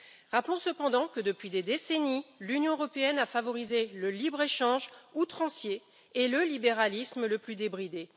Rappelons cependant que depuis des décennies, l'Union européenne a favorisé le libre échange outrancier et le libéralisme le plus débridé.